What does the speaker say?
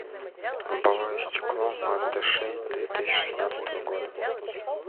лобовое стекло мазда шесть две тысячи шестнадцатого года